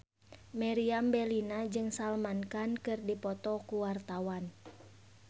Meriam Bellina jeung Salman Khan keur dipoto ku wartawan